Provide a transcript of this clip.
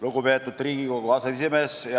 Lugupeetud Riigikogu aseesimees!